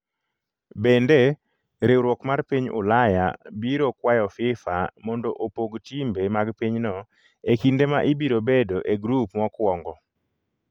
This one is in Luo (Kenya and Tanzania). Bende, riwruok mar piny Ulaya biro kwayo Fifa mondo opog timbe mag pinyno e kinde ma ibiro bedo e grup mokwongo.